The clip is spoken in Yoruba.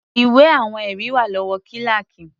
Ìwé àwọn ẹ̀rí wà lọ́wọ́ kíláákì.